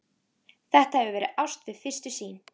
Þetta hefur verið ást við fyrstu sýn.